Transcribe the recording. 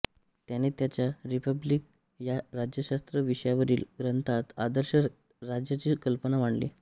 त्याने त्याच्या रिपब्लिक या राज्यशास्त्र विषयवरील ग्रंथात आदर्श राज्याची कल्पना मांडली